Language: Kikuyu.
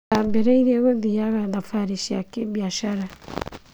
ndambĩrĩieie gũthiaga thabarĩ cia kĩbiathara.